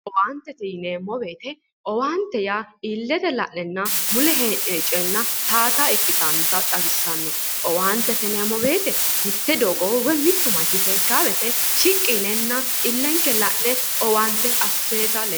Owaantete yineemmo woyiite owaantete yaa illete la'nenna mule hee'noyi cooyeenna towaata ikkitannota xawissanno. owaantete yineemmo woyiite mitte doogo woyi mittu manch seekkaa wooyiite shiqqi yinenna illenke la'ne owaante asseeta lee..